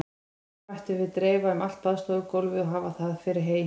Toginu mættum við dreifa um allt baðstofugólfið og hafa það fyrir hey.